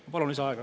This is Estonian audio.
Ma palun lisaaega.